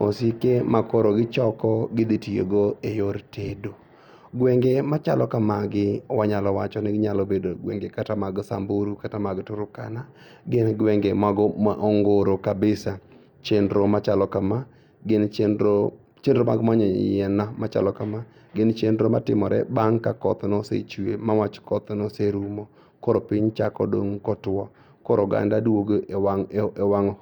osike makoro kichoko gidhitiyogo e yor tedo. Gwenge machalo kamagi wanyalo wachoni nyalo bedo gwenge kata mag Samburu kata mag Turkana. Gin gwenge mago ma ongoro kabisa. Chenro machalo kama gin chenro mag manyo yien machalo kama gin chenro matimore bang' ka koth nosechue mawach koth noserumo koro piny chako dong' kotuo koro oganda duogo e wang'